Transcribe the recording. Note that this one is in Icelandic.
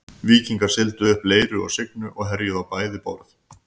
Víkingar sigldu upp Leiru og Signu og herjuðu á bæði borð.